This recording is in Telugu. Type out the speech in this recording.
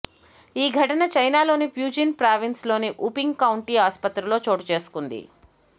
ఈ ఘటన చైనాలోని ప్యూజిన్ ప్రావిన్స్లోని వుపింగ్ కౌంటీ ఆసుపత్రిలో చోటు చేసుకుంది